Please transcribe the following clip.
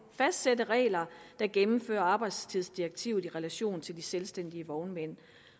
fastsætte regler der gennemfører arbejdstidsdirektivet i relation til de selvstændige vognmænd